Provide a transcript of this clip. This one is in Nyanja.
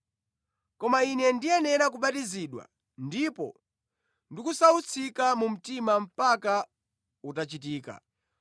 Koma Ine ndiyenera kubatizidwa, ndipo ndikusautsika mu mtima mpaka utachitika!